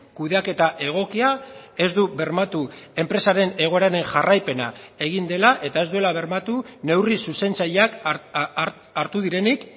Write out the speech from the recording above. kudeaketa egokia ez du bermatuenpresaren egoeraren jarraipena egin dela eta ez duela bermatu neurri zuzentzaileak hartu direnik